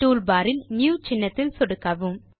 toolbar இல் new சின்னத்தில் சொடுக்கவும்